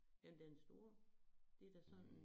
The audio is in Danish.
Jamen den store det da sådan en